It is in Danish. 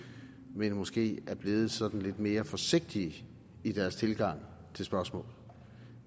men måske er blevet sådan lidt mere forsigtige i deres tilgang til spørgsmålet